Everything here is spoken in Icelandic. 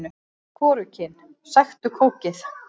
Hvorugkyn: Sæktu kókið.